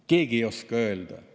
Keegi ei oska öelda.